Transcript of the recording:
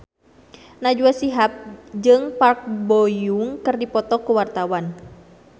Najwa Shihab jeung Park Bo Yung keur dipoto ku wartawan